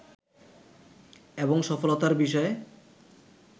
এবং সফলতার বিষয়ে